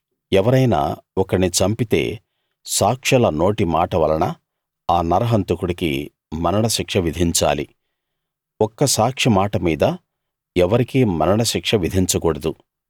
ఎవరైనా ఒకణ్ణి చంపితే సాక్షుల నోటి మాట వలన ఆ నరహంతకుడికి మరణశిక్ష విధించాలి ఒక్క సాక్షిమాట మీద ఎవరికీ మరణశిక్ష విధించకూడదు